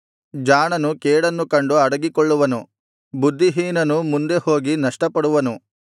ಜಾಣನು ಕೇಡನ್ನು ಕಂಡು ಅಡಗಿಕೊಳ್ಳುವನು ಬುದ್ಧಿಹೀನನು ಮುಂದೆ ಹೋಗಿ ನಷ್ಟಪಡುವನು